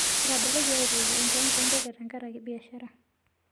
Etaboloki aitoki enkiwanja entenke tenkaraki biashara